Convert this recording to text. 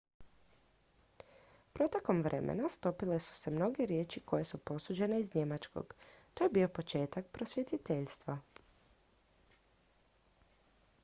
protekom vremena stopile su se mnoge riječi koje su posuđene iz njemačkog to je bio početak prosvjetiteljstva